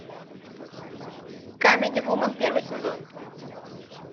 камеди вумен первый сезон